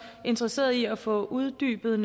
interesseret i at få uddybet